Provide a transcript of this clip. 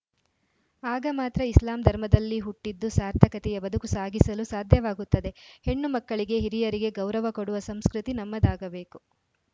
ಆಗ ಮಾತ್ರ ಇಸ್ಲಾಂ ಧರ್ಮದಲ್ಲಿ ಹುಟ್ಟಿದ್ದು ಸಾರ್ಥಕತೆಯ ಬದುಕು ಸಾಗಿಸಲು ಸಾಧ್ಯವಾಗುತ್ತದೆ ಹೆಣ್ಣು ಮಕ್ಕಳಿಗೆ ಹಿರಿಯರಿಗೆ ಗೌರವ ಕೊಡುವ ಸಂಸ್ಕೃತಿ ನಮ್ಮದಾಗಬೇಕು